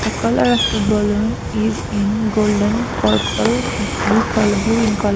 the colour of the balloon is in golden purple blue colo blue in colour.